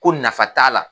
Ko nafa t'a la